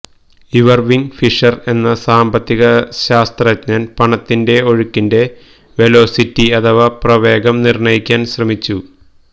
Irving Fisher എന്ന സാമ്പത്തികശാസ്ത്രജ്ഞൻ പണത്തിന്റെ ഒഴുക്കിന്റെ വെലോസിറ്റി അഥവാ പ്രവേഗം നിർണയിക്കാൻ ശ്രമിച്ചു